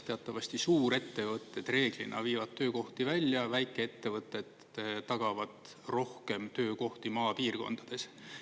Teatavasti suurettevõtted reeglina viivad töökohti välja, väikeettevõtted tagavad rohkem töökohti maapiirkondades.